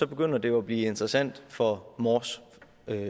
begynder det jo at blive interessant for mors